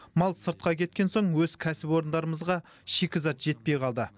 мал сыртқа кеткен соң өз кәсіпорындарымызға шикізат жетпей қалды